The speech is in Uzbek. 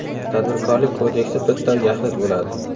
Tadbirkorlik kodeksi bitta va yaxlit bo‘ladi.